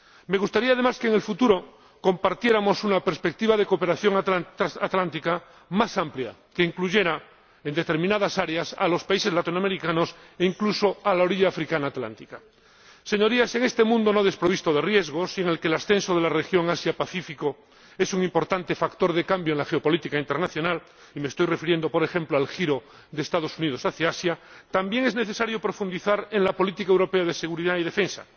Me gustaría además que, en el futuro, compartiéramos una perspectiva de cooperación transatlántica más amplia, que incluyera, en determinadas áreas, a los países latinoamericanos e incluso a la orilla atlántica africana. Señorías, en este mundo no desprovisto de riesgos y en el que el ascenso de la región Asia Pacífico es un importante factor de cambio en la geopolítica internacional —y me estoy refiriendo, por ejemplo, al giro de los Estados Unidos hacia Asia—, también es necesario profundizar en la política europea de seguridad y defensa.